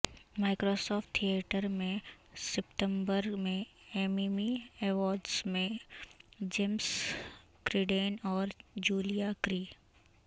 Microsoft theatre میں ستمبر میں ایممی ایوارڈز میں جیمز کرڈین اور جولیا کیری